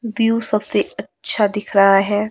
View सबसे अच्छा दिख रहा है।